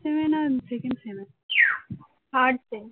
thirds A